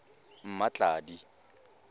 mmatladi